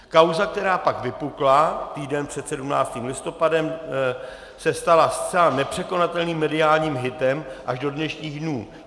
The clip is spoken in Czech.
Kauza, která pak vypukla týden před 17. listopadem, se stala zcela nepřekonatelným mediálním hitem až do dnešních dnů.